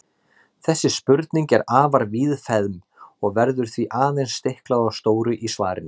Þessi spurning er afar víðfeðm og verður því aðeins stiklað á stóru í svarinu.